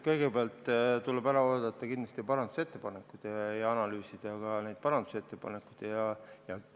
Kõigepealt tuleb kindlasti ära oodata parandusettepanekud ja neid ka analüüsida.